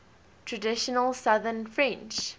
traditional southern french